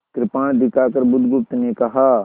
कृपाण दिखाकर बुधगुप्त ने कहा